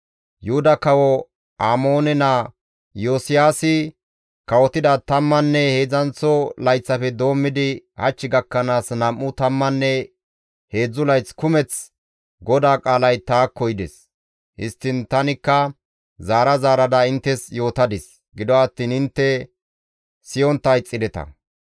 «Yuhuda kawo Amoone naa Iyosiyaasi kawotida tammanne heedzdzanththo layththafe doommidi hach gakkanaas nam7u tammanne heedzdzu layth kumeth GODAA qaalay taakko yides. Histtiin tanikka zaara zaarada inttes yootadis; gido attiin intte siyontta ixxideta.